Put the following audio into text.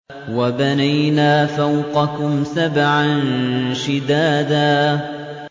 وَبَنَيْنَا فَوْقَكُمْ سَبْعًا شِدَادًا